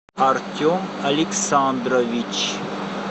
артем александрович